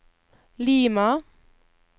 Lima